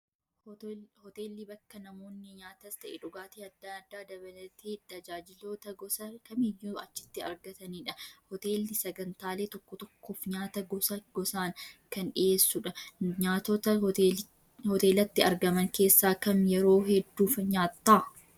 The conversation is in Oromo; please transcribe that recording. Hoteelli bakka namoonni nyaatas ta'ee dhugaatii adda addaa dabalatee tajaajiloota gosa kamiyyuu achitti argatanidha. Hoteelli sagantaalee tokko tokkoof nyaata gosa gosaan kan dhiyeessudha. Nyaatota hoteelatti argaman keessaa kam yeroo hedduu nyaatta?